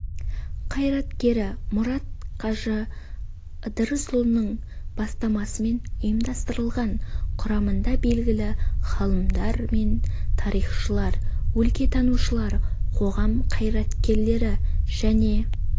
қайраткері мұрат қажы ыдырысұлының бастамасымен ұйымдастырылған құрамында белгілі ғалымдар мен тарихшылар өлкетанушылар қоғам қайраткерлері және